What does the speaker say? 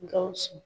Gawusu